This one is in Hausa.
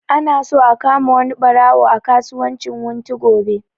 Ana so a kama wani ɓaro a kasuwan wunti gobe